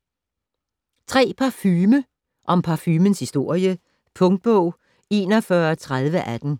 Parfume - om parfumens historie Punktbog 413018